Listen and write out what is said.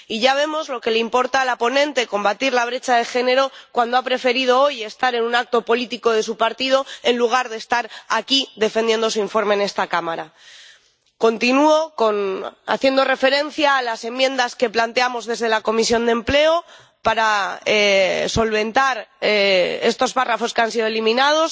Y ya vemos lo que le importa a la ponente combatir la brecha de género cuando ha preferido hoy estar en un acto político de su partido en lugar de estar aquí defendiendo su informe en esta Cámara. Continúo refiriéndome a las enmiendas que planteamos desde la Comisión de Empleo para solventar estos párrafos que han sido eliminados